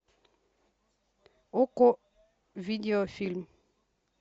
окко видеофильм